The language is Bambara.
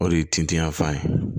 O de ye tintinya fan ye